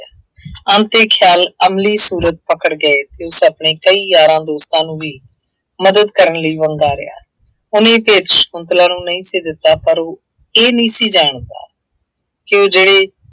ਅੰਤ ਇਹ ਖਿਆਲ ਅਮਲੀ ਸੂਰਤ ਪਕੜ ਗਏ ਅਤੇ ਉਸ ਆਪਣੇ ਕਈ ਯਾਰਾਂ ਦੋਸਤਾਂ ਨੂੰ ਵੀ ਮਦਦ ਕਰਨ ਲਈ ਵੰਗਾਰਿਆ। ਉਹਨੇ ਇਹ ਭੇਤ ਸ਼ੰਕੁਤਲਾ ਨੂੰ ਨਹੀਂ ਸੀ ਦਿੱਤਾ ਪਰ ਉਹ ਇਹ ਨਹੀਂ ਸੀ ਜਾਣਦਾ, ਕਿ ਉਹ ਜਿਹੜੇ